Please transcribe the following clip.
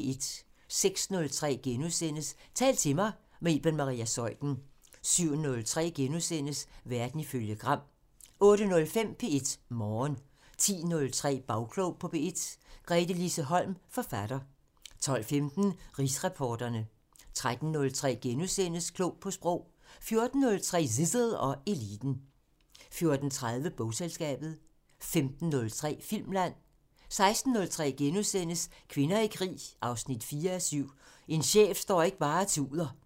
06:03: Tal til mig – med Iben Maria Zeuthen * 07:03: Verden ifølge Gram * 08:05: P1 Morgen 10:03: Bagklog på P1: Gretelise Holm, forfatter 12:15: Rigsretsreporterne 13:03: Klog på Sprog * 14:03: Zissel og Eliten 14:30: Bogselskabet 15:03: Filmland 16:03: Kvinder i krig 4:7 – "En chef står ikke bare og tuder" *